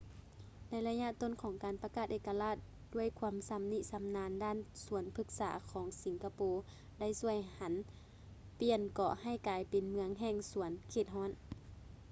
ໃນໄລຍະຕົ້ນຂອງການປະກາດເອກະລາດ ດ້ວຍຄວາມຊຳນິຊຳນານດ້ານສວນພຶກສາຂອງສິງກະໂປໄດ້ຊ່ວຍຫັນປ່ຽນເກາະໃຫ້ກາຍເປັນເມືອງແຫ່ງສວນເຂດຮ້ອນ